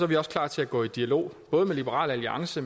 vi også klar til at gå i dialog både med liberal alliance